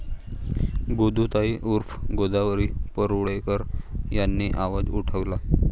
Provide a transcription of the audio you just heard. गोदूताई उर्फ गोदावरी परुळेकर यांनी आवाज उठवला.